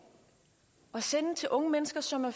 at sende til unge mennesker som er